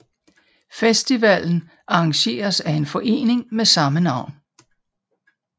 Festivalen arrangeres af en forening med samme navn